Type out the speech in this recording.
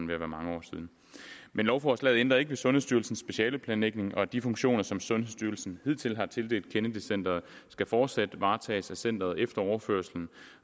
ved at være mange år siden men lovforslaget ændrer ikke ved sundhedsstyrelsens specialeplanlægning og de funktioner som sundhedsstyrelsen hidtil har tildelt kennedy centret skal fortsat varetages af centeret efter overførslen